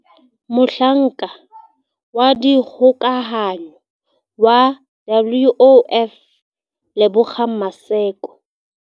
Mohlanka wa dikgokahanyo wa WOF Lebogang Maseko